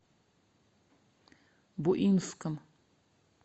буинском